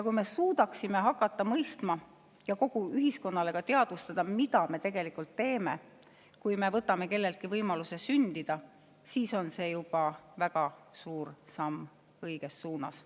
Kui me suudaksime mõista ja kogu ühiskonnale teadustada, mida me tegelikult teeme, kui me võtame kelleltki võimaluse sündida, siis on see juba väga suur samm õiges suunas.